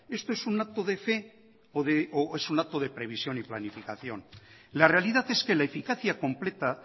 esto es un acto de fe o es un acto de previsión y planificación la realidad es que la eficacia completa